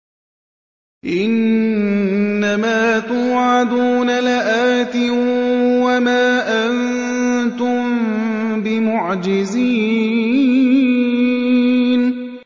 إِنَّ مَا تُوعَدُونَ لَآتٍ ۖ وَمَا أَنتُم بِمُعْجِزِينَ